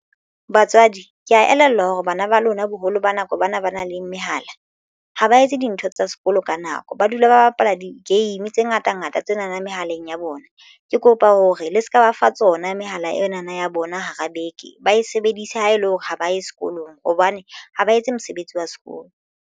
Batswadi ke ya elellwa hore bana ba lona boholo ba nako ba na ba nang le mehala ha ba etse dintho tsa sekolo ka nako ba dula ba bapala di-game tse ngata ngata tsena na mehaleng ya bona ke kopa hore le se ka ba fa tsona mehala ena na ya bona hara beke ba e sebedise ha ele hore ha ba ye sekolong hobane ha ba etse mosebetsi wa sekolo.